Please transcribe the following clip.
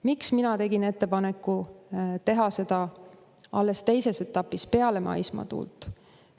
Miks mina tegin ettepaneku teha seda alles teises etapis, peale maismaatuult?